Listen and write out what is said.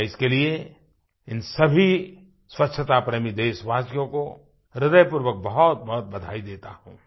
मैं इसके लिए इन सभी स्वच्छता प्रेमी देशवासियों को ह्रदय पूर्वक बहुतबहुत बधाई देता हूँ